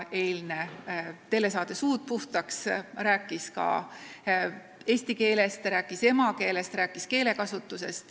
Eilne telesaade "Suud puhtaks" rääkis ka eesti keelest, rääkis emakeelest, rääkis keelekasutusest.